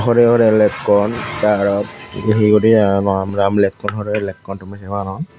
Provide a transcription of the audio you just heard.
hore hore lekkon te aro he he guri aro raam raam lekkun hore hore lekkun tumi sey paro.